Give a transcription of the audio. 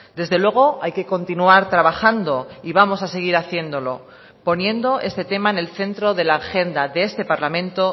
desde luego hay que continuar trabajando y vamos a seguir haciéndolo poniendo este tema en el centro de la agenda de este parlamento